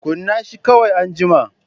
Kunna shi kawai anjima.